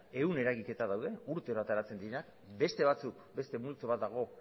ehun eragiketa daude urtero ateratzen direnak beste multzo bat dago